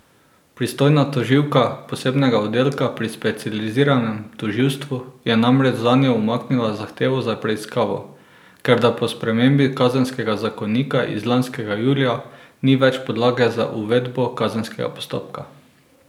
Pristojna tožilka posebnega oddelka pri specializiranem tožilstvu je namreč zanjo umaknila zahtevo za preiskavo, ker da po spremembi kazenskega zakonika iz lanskega julija ni več podlage za uvedbo kazenskega postopka.